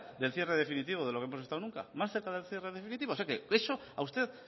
del cierre definitivo de lo que hemos estado nunca más cerca del cierre definitivo o sea que eso a usted